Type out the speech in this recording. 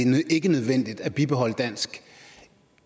det ikke er nødvendigt at bibeholde dansk